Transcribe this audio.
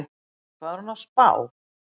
Hvað er hún að spá?